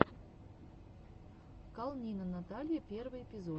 калнина наталья первый эпизод